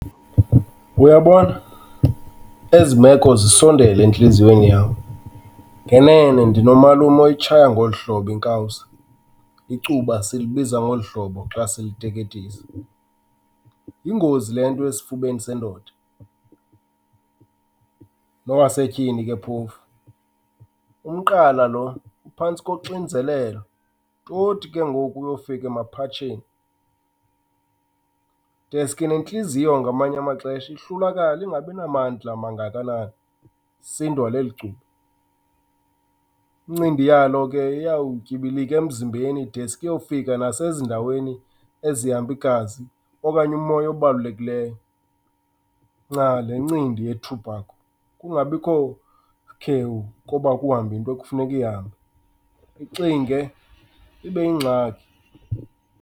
Uyabona, ezi meko zisondele entliziyweni yam. Ngenene ndinomalume oyitshaya ngoluhlobo inkawuza, icuba silibiza ngolu hlobo xa siliteketisa. Yingozi le nto esifubeni sendoda, nowasetyhini ke phofu. Umqala lo uphantsi koxinzelelo toti ke ngoku uyofika emaphatsheni. Deske nentliziyo ngamanye amaxesha ihlulakale ingabinamandla mangakanani, isindwa leli cuba. Incindi yalo ke iyawutyibilika emzimbeni deske iyofika nasezindaweni ezihamba igazi okanye umoya obalulekileyo. Nca, le ncindi yethubhakho, kungabikho sikhewu kuba kuhambe into ekufuneka ihambe. Ixinge, ibe yingxaki.